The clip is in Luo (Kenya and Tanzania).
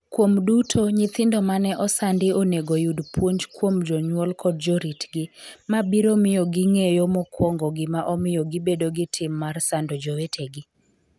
Kuom duto, nyithindo mane osandi onego yud puonj kuom jonyuol kod joritgi, ma biro miyo ging’eyo mokwongo gima omiyo gibedo gi tim mar sando jowetegi.